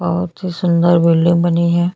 बहुत ही सुंदर बिल्डिंग बनी है।